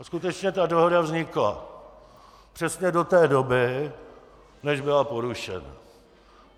A skutečně ta dohoda vznikla přesně do té doby, než byla porušena.